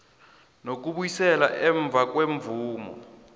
nokubuyiselwa emva kwemvumo